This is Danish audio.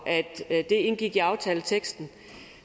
at det indgik i aftaleteksten